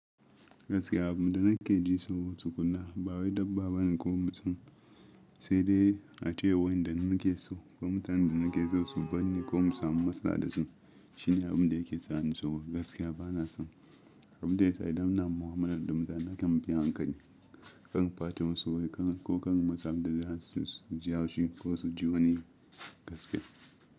Gaskiya abin da nake ji so tukuna ba wai dabba bane ko mutum, sai dai ace wanda muke so ko mutanen da nake so su binne ko mu samu masada da su shine abin da yake tsani so. Gaskiya bana son abin da ya zai damina, mu'amalar da mutane kan biya hankali kan fatan su wai kan ko kan masa da zasu su ji yaushi ko su ji wani gaskiya.